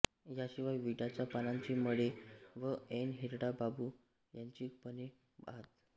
यांशिवाय विड्याच्या पानांचे मळे व ऐन हिरडा बांबू यांची बने आहेत